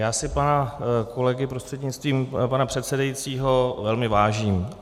Já si pana kolegy, prostřednictvím pana předsedajícího, velmi vážím.